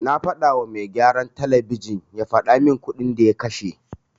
Na fadawa mai gyaran talabijin ya fadamin kuɗin da ya kashe.